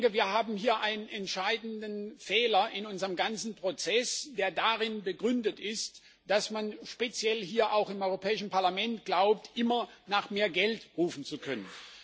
Wir haben hier einen entscheidenden Fehler in unserem ganzen Prozess, der darin begründet ist, dass man speziell hier im Europäischen Parlament glaubt, immer nach mehr Geld rufen zu können.